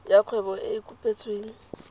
ya kgwebo e e kopetsweng